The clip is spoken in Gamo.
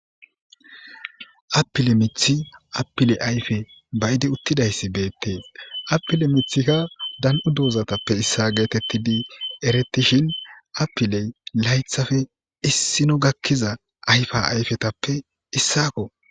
Appile mithi appile ayfe bayidi uttidayssi beettees appile mithikka dan7u doozatappe issa geetettidi eretishin appiley laythafe issino gakkiza ayfa ayfetappe issako.